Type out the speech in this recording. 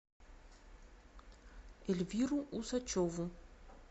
эльвиру усачеву